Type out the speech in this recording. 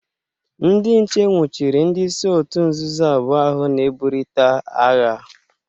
Ndị nche nwuchiri ndị isi otu nzọzọ abụọ ahụ na-eburịta agha.